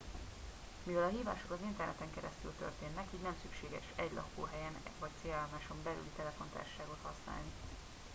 mivel a hívások az interneten keresztül történnek így nem szükséges egy lakóhelyen vagy célállomáson belüli telefontársaságot használni